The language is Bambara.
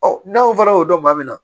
Ɔ n'aw fana y'o dɔn maa min na